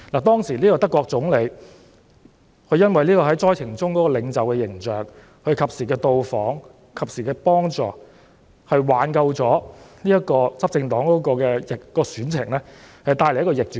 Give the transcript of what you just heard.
當時德國總理因為在災情中展現的領袖形象，加上他及時到訪災區和及時提供幫助，最後挽救了執政黨的選情，並且帶來逆轉。